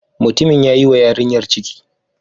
Mutumin ya yi wa yarinyar ciki.